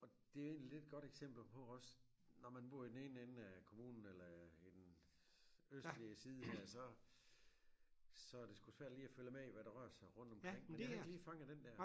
Og det er jo egentlig lidt et godt eksempel på også når man bor i den ene ende af kommunen eller en østlig side her så så er det sgu svært lige at følge med i hvad der rører sig rundt omkring men jeg havde ikke lige fanget den der